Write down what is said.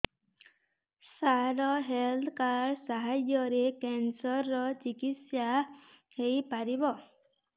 ସାର health card ସାହାଯ୍ୟରେ cancer ର ଚିକିତ୍ସା ହେଇପାରିବ